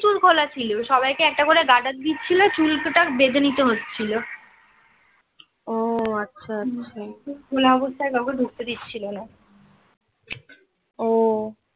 চুল খোলা ছিল. সবাইকে একটা করে guarder দিচ্ছিল. চুলটা বেঁধে নিতে হচ্ছিল আচ্ছা আচ্ছা ও খোলা অবস্থায় কাউকে ঢুকতে দিচ্ছিল না